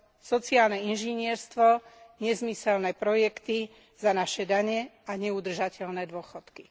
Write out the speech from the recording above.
Sociálne inžinierstvo, nezmyselné projekty za naše dane a neudržateľné dôchodky.